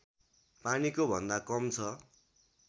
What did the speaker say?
पानीको भन्दा कम छ